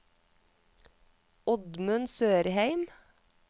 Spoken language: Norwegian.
Oddmund Sørheim